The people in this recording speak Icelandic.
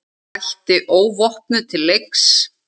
Mætti óvopnuð til leiks.